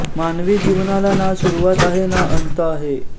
मानवी जिवनाला ना सुरूवात आहे ना अंत आहे